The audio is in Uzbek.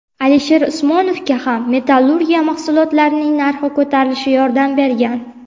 Alisher Usmonovga ham metallurgiya mahsulotlarining narxi ko‘tarilishi yordam bergan.